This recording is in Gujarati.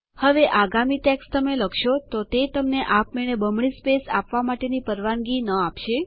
હવે આગામી ટેક્સ્ટ તમે લખશો તો તે તમને આપમેળે બમણી સ્પેસ આપવા માટેની પરવાનગી ન આપશે